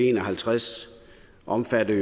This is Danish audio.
en og halvtreds omfatter